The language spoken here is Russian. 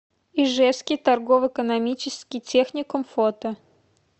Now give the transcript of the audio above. ижевский торгово экономический техникум фото